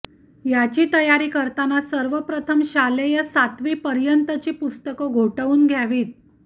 याची तयारी करताना सर्वप्रथम शालेय सातवीपर्यंतची पुस्तकं घोटवून घ्यावीत